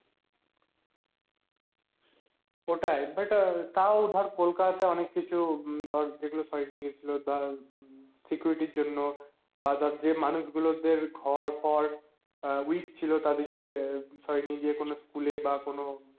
ওটাই but তাও ধর কোলকাতা তায় অনেক কিছু ধর যেগুলো সরিয়ে নিয়ে গেছিলো তার Security জন্য বা ধর যে মানুষ গুলোর জন্য বা যে মানুষগুলোর দের ঘর ফর weak ছিল তাদেরকে সরিয়ে নিয়ে গিয়ে কোনো school বা কোনো